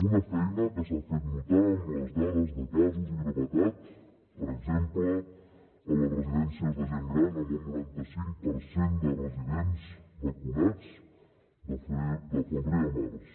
una feina que s’ha fet notar amb les dades de casos i gravetat per exemple a les residències de gent gran amb un noranta cinc per cent de residents vacunats de febrer a març